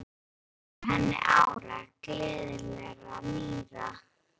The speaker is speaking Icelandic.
Til að óska henni ára, gleðilegra, nýrra.